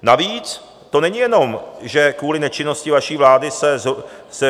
Navíc to není jenom, že kvůli nečinnosti vaší vlády se...